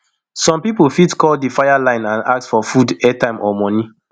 some pipo fit call di fire line and ask for food airtime or moni